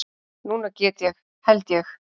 Núna get ég. held ég.